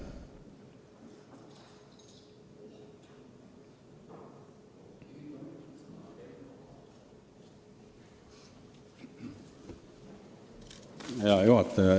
Hea juhataja!